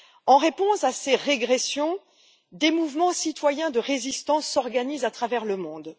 En réponse à ces régressions, des mouvements citoyens de résistance s'organisent à travers le monde.